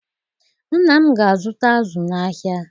Nna m ga-azụta azụ n'ahịa